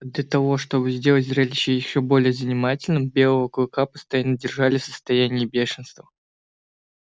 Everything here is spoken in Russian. для того чтобы сделать зрелище ещё более занимательным белого клыка постоянно держали в состоянии бешенства